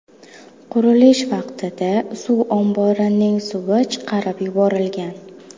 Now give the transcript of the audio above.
Qurilish vaqtida suv omborining suvi chiqarib yuborilgan.